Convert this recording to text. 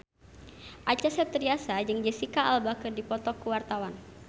Acha Septriasa jeung Jesicca Alba keur dipoto ku wartawan